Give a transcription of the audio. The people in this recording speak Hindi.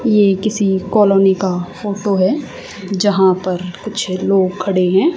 ये किसी कॉलोनी का फोटो है जहां पर कुछ लोग खड़े हैं।